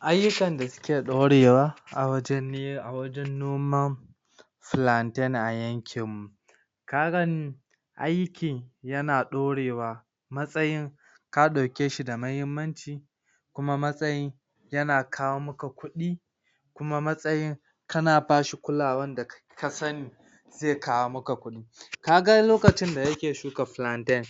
Ayyukan da suke ɗaurewa a wajen noman plantain a yankin mu karan aiki yana ɗorewa matsayin ka ɗaukeshi da muhimmanci kuma matsayin yana kawo maka kuɗi kuma matsayin kana bashi kulawan da ka sani ze kawo maka kuɗi, kaga lokacin da nake shuka plantain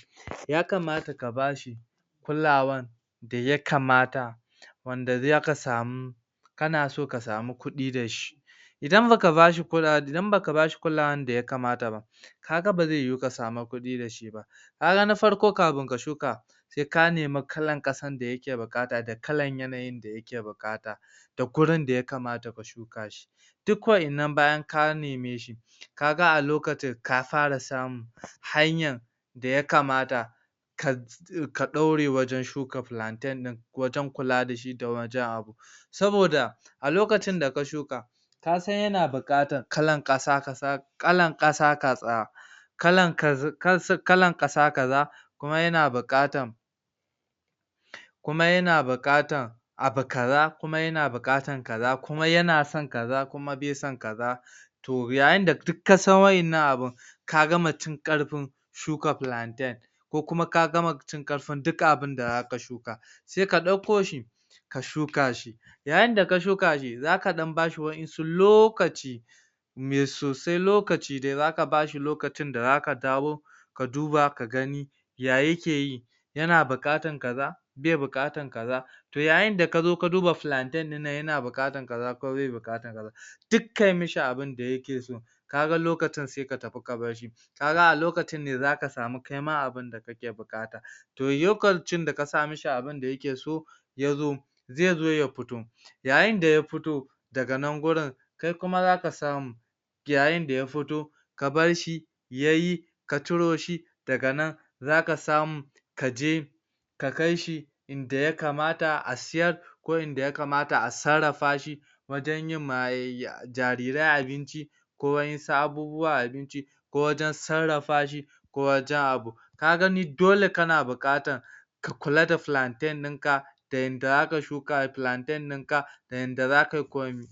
ya kamata kabashi kulawan daya kamata wanda zaka samu kanaso ka samu kuɗi dashi idan baka bashi kulawa, idan baka bashi kulawan daya kamata ba kaga baze yuwu ka samu kuɗi dashi ba ai ranar farko kamin ka shuka se ka nemi kalan ƙasar da yake buƙata, da kalar yanayin da yake buƙata da gurinda ya kamata mu shuka shi duk waʼannan bayan ka neme shi kaga a lokacin ka fara samun hanyar daya kamata ka ka ɗaure wajen shuka plantain ɗin da wajen kula dashi da wajen abu saboda a lokacin daka shuka kasan tana buƙatan kalar ƙasa kaza, kalan ƙasa kaza kalan ƙasa kaza kuma yana buƙatan kuma yana buƙatan abu kaza, kuma yana buƙatan kaza, kuma yana son kaza, kuma bai son kaza to yayinda duk kasan waƴannan abun ka gama cin ƙarfin shuka plantain ko kuma ka gama cin ƙarfin duk abinda zaka shuka se ka ɗakko shi ka shuka shi yayinda ka shuka shi zaka bashi waɗansu lokaci inya so dai se lokaci dai, zaka bashi lokacin da zaka dawo ka duba ka gani ya yake yi yana buƙatan kaza, bai buƙata kaza to yayin da kazao ka duba plantain ɗinnan yana buƙatan kaza ko bai buƙatan kaza duk kai mishi abunda yake so kaga lokacin se ka tafi ka barshi kaga a lokacin ne kaima zaka samu abunda kake buƙata to lokacin da ka sa mai abunda yake so yazo ze zo ya fito yayinda ya fito daga nan gurin kai kuma zaka samu yayinda ya fito ka barshi yayi ka ciro shi daga nan zaka samu kaje ka kaishi inda ya kamata a siyar ko inda ya kamata a sarrafashi wajen yimma jarirai abinci ko waƴansu abubuwan abinci ko wajen sarrafa shi ko waken abu ka gani dole kana buƙatan ka kula da plantain dinka da yanda zaka shuka plantain dinka ,da yadda zakai komi